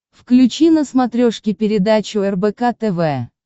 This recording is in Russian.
включи на смотрешке передачу рбк тв